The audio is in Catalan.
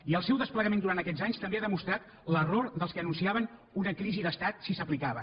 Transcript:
i el seu desplegament durant aquests anys també ha demostrat l’error dels que anunciaven una crisi d’estat si s’aplicava